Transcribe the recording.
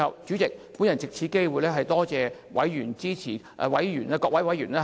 主席，我最後藉此機會多謝委員支持事務委員會的工作。